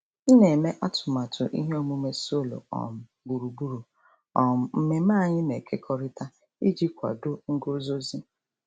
M na-eme atụmatụ ihe omume solo um gburugburu um mmemme anyị na-ekekọrịta iji kwado nguzozi.